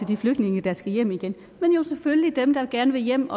de flygtninge der skal hjem igen men dem der gerne vil hjem